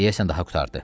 Deyəsən daha qurtardı.